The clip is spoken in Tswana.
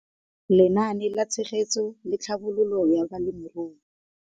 Lenaane la Tshegetso le Tlhabololo ya Balemirui.